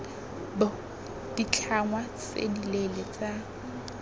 b ditlhangwa tse dileele tsa